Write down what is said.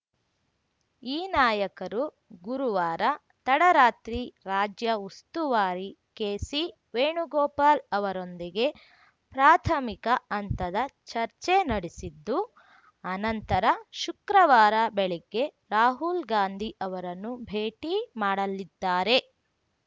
ಈ ನಾಯಕರು ಗುರುವಾರ ತಡರಾತ್ರಿ ರಾಜ್ಯ ಉಸ್ತುವಾರಿ ಕೆಸಿ ವೇಣುಗೋಪಾಲ್‌ ಅವರೊಂದಿಗೆ ಪ್ರಾಥಮಿಕ ಹಂತದ ಚರ್ಚೆ ನಡೆಸಿದ್ದು ಅನಂತರ ಶುಕ್ರವಾರ ಬೆಳಗ್ಗೆ ರಾಹುಲ್‌ ಗಾಂಧಿ ಅವರನ್ನು ಭೇಟಿ ಮಾಡಲಿದ್ದಾರೆ